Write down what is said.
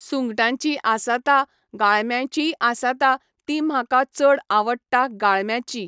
सुंगटांची आसाता गाळम्याचीय आसाता ती म्हाका चड आवडटा गाळम्याची